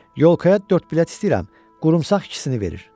Yolkaya dörd bilet istəyirəm, qurumsaq ikisini verir.